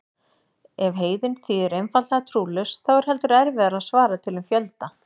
Ef heiðinn þýðir einfaldlega trúlaus þá er heldur erfiðara að svara til um fjölda.